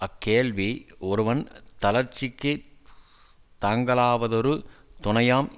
அக்கேள்வி ஒருவன் தளர்ச்சிக்குத் தாங்கலாவதொரு துணையாம்